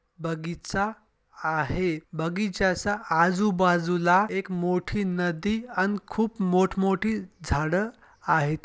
बगीच्या आहे बगीच्या च्या आजू बाजूला एक मोठी नदी आण खूप मोठ मोठी झाड आहेत.